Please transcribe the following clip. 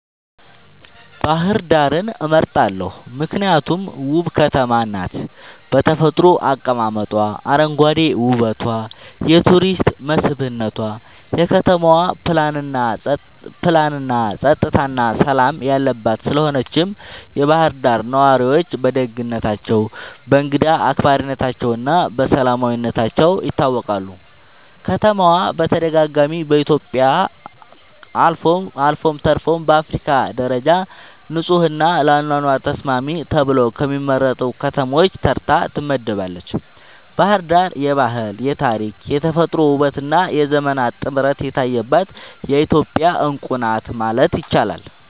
ባህር ዳርን እመርጣለሁ ምክንያቱም ውብ ከተማ ናት በተፈጥሮ አቀማመጧ, አረንጓዴ ዉበቷ የቱሪስት መስብነቷ, የከተማዋ ፕላንናፀጥታና ሠላም የለባት ስለሆነችም የባህር ዳር ነዋሪዎች በደግነታቸው፣ በእንግዳ አክባሪነታቸውና በሰላማዊነታቸው ይታወቃሉ። ከተማዋ በተደጋጋሚ በኢትዮጵያ አልፎ ተርፎም በአፍሪካ ደረጃ ንጹሕና ለአኗኗር ተስማሚ ተብለው ከሚመረጡ ከተሞች ተርታ ትመደባለች። ባሕር ዳር የባህል፣ የታሪክ፣ የተፈጥሮ ውበትና የዘመናዊነት ጥምረት የታየባት የኢትዮጵያ ዕንቁ ናት ማለት ይቻላል።